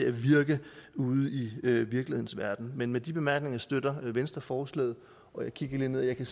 at virke ude i virkelighedens verden men med de bemærkninger støtter venstre forslaget og jeg kigger lige ned i